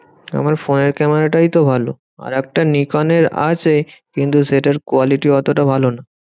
আমার ফোনের ক্যামেরাটাই তো ভালো। আরেকটা নিকনের আছে কিন্তু সেটার quality অতটা ভালো নয়।